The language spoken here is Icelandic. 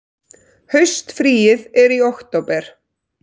Haustfríið er í október.